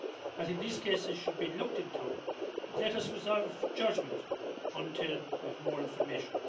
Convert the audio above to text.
I think these cases should be looked into, but let us reserve judgment until we have more information.